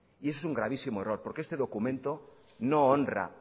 y ese es un gravísimo error porque este documento no honra